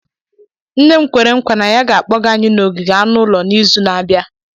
Nne m kwere nkwa na ya ga-akpọga anyị n'ogige anụ ụlọ n'izu na-abịa.